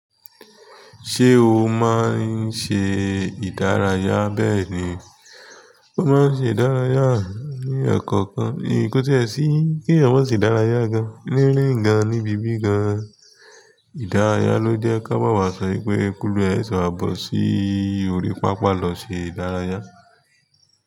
Ṣé o máa ń ṣe ìdárayá? Bẹ́ẹ̀ni, mo máa ń ṣe ìdárayá ní ẹkọ̀ọ̀kan, nì ko tiẹ sí kí èèyàn má ṣe dárayá gan-an rin rin gan, ní ibi bí gan-an. Ìdárayá ló jẹ́ kí a máa wà sọ pé "k'oluwa ẹ sẹsẹ bọ̀ sí orí pápá lọ ṣe ìdárayá."